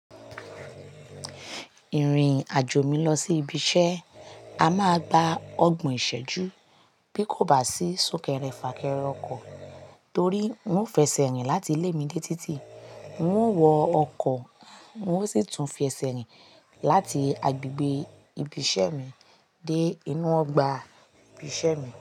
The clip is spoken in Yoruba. Ìrìn-àjò mi lọ sí ibi iṣẹ́, a máa gba ọ̀gbon ìṣẹ́jú bí kò bá sí súnkẹrẹ fàkẹrẹ ọkọ̀ torí ń ò fẹsẹ̀ rìn láti ilé mi dé títì, ń ò wọ ọkọ̀, ń ò sì tún fi ẹsẹ̀ rìn láti agbègbè ibi iṣẹ́ mi dé inú ọgbà ibi iṣẹ́ mi.